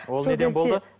ол неден болды